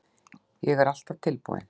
Ég er alltaf tilbúinn.